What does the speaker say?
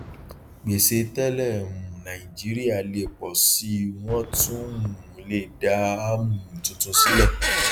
gbèsè tẹlẹ um nàìjíríà lè pọ síi wọn tún um le dá um tuntun sílẹ